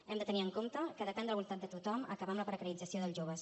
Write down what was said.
hem de tenir en compte que depèn de la voluntat de tothom acabar amb la precarització dels joves